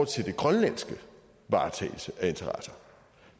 til den grønlandske varetagelse af interesser